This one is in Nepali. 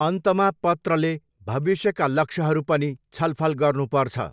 अन्तमा पत्रले भविष्यका लक्ष्यहरू पनि छलफल गर्नुपर्छ।